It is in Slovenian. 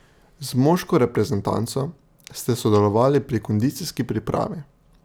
Z moško reprezentanco ste sodelovali pri kondicijski pripravi.